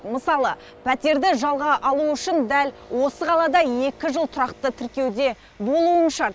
мысалы пәтерді жалға алу үшін дәл осы қалада екі жыл тұрақты тіркеуде болуың шарт